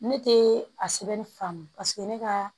Ne tɛ a sɛbɛnni faamu ne ka